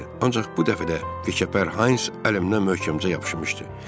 Ancaq bu dəfə də Vikerper Hayns əlimdən möhkəmcə yapışmışdı.